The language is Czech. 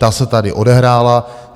Ta se tady odehrála.